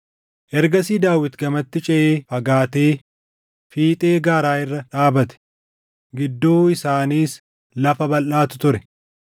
Ergasii Daawit gamatti ceʼee fagaatee fiixee gaara irra dhaabate; gidduu isaaniis lafa balʼaatu ture.